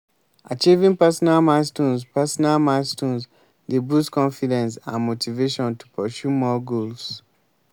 achieving personal milestones personal milestones dey boost confidence and motivation to pursue more goals.